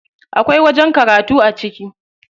Akwai wajen karatu a ciki.